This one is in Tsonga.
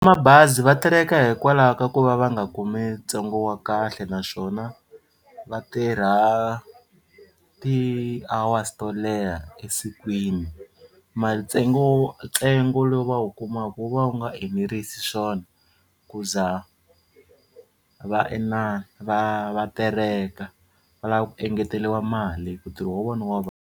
Mabazi va terheka hikwalaho ka ku va va nga kumi ntsengo wa kahle naswona va tirha ti-hours to leha esikwini ntsengo ntsengo lowu va wu kumaka wu va wu nga enerisi swona ku za va inana va va tereka va lava ku engeteriwa mali ku ntirho wa vona wa .